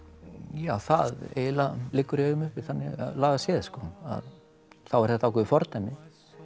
ja það eiginlega liggur í augum uppi þannig lagað séð að þá er þetta ákveðið fordæmi